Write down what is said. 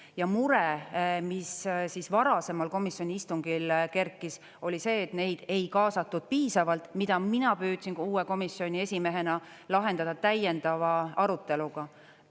Ja mure, mis varasemal komisjoni istungil kerkis, oli see, et neid ei kaasatud piisavalt, mida mina püüdsin ka uue komisjoni esimehena lahendada täiendava aruteluga.